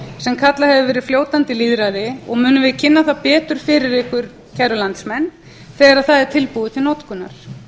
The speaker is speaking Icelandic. sem kallað hefur verið fljótandi lýðræði og munum við kynna það betur fyrir ykkur kæru landsmenn þegar það er tilbúið til notkunar